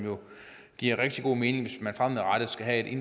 giver rigtig god mening hvis man fremadrettet skal have